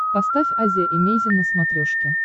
поставь азия эмейзин на смотрешке